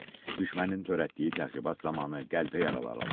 düşmənin törətdiyi təxribat zamanı qəlpə yaraları alıb.